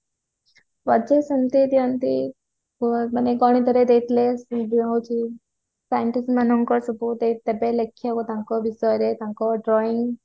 project ସେମିତି ଦିଅନ୍ତି ମାନେ ଗଣିତରେ ଦେଇଥିଲେ ସେଇ ଯୋଉ ହଉଛି scientist ମାନଙ୍କର ସେ ଯୋଉ ଦେବେ ଲେଖିବାକୁ ତାଙ୍କ ବିଷୟରେ ତାଙ୍କ drawing